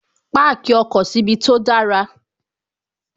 Páàkì ọkọ̀ síbi tó dára